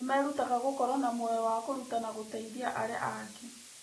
Nĩ merutaga gũkorwo na muoyo wa kũruta na gũteithia arĩa angĩ.